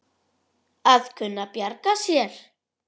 Að kunna að bjarga sér!